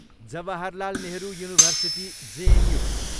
Jawaharlal Nehru university, JNU